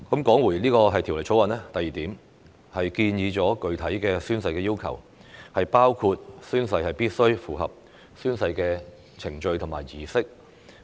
第二，《條例草案》建議加入具體的宣誓要求，包括宣誓必須符合宣誓程序和儀式。